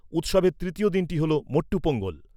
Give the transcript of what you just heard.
উৎসবের তৃতীয় দিনটি হল মট্টু পোঙ্গল।